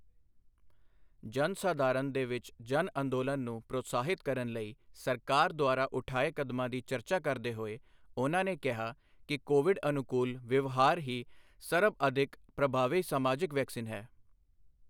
ਜਨ ਸਧਾਰਨ ਦੇ ਵਿੱਚ ਜਨ ਅੰਦੋਲਨ ਨੂੰ ਪ੍ਰੋਤਸਾਹਿਤ ਕਰਨ ਲਈ ਸਰਕਾਰ ਦੁਆਰਾ ਉਠਾਏ ਕਦਮਾਂ ਦੀ ਚਰਚਾ ਕਰਦੇ ਹੋਏ ਉਨ੍ਹਾਂ ਨੇ ਕਿਹਾ ਕਿ ਕੋਵਿਡ ਅਨੁਕੂਲ ਵਿਵਹਾਰ ਹੀ ਸਰਬਅਧਿਕ ਪ੍ਰਭਾਵੀ ਸਮਾਜਿਕ ਵੈਕਸੀਨ ਹੈ।